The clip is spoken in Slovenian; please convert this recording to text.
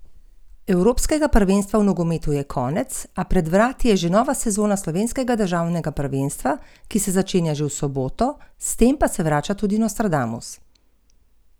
Koliko kamna smo zvozili stran!